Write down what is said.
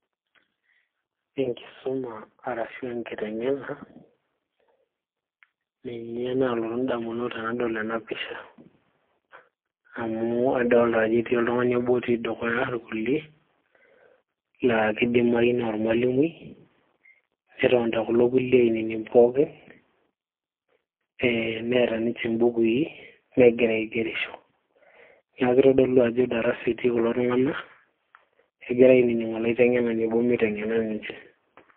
enkisuma arashu aa enkiteng'ena ninye naalotu indamunot tenadol ena pisha amu adolita ajo etii oltung'ani obo otii dukuya irkulie laa kidimayu naa ormalimui netonita kulo kulie ainining pooki ee neeta ninche imbukui negira aigerisho niaku kitodolu ajo darasa etii kulo tung'anak egira ainining olaiteng'ena obo miteng'ena ninche.